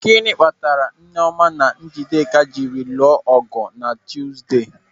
Gịnị kpatara Nneọma na Njideka jiri lụọ ọgụ na Tuzde?